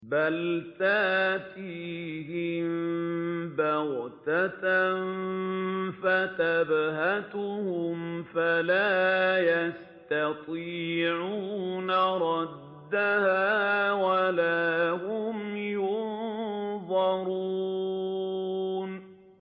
بَلْ تَأْتِيهِم بَغْتَةً فَتَبْهَتُهُمْ فَلَا يَسْتَطِيعُونَ رَدَّهَا وَلَا هُمْ يُنظَرُونَ